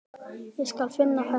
Ég skal finna þetta bréf